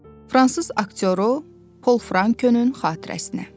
Fransız aktyoru Pol Frankönün xatirəsinə.